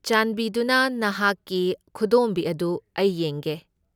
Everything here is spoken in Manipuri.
ꯆꯥꯟꯕꯤꯗꯨꯅ ꯅꯍꯥꯛꯀꯤ ꯈꯨꯗꯣꯝꯕꯤ ꯑꯗꯨ ꯑꯩ ꯌꯦꯡꯒꯦ꯫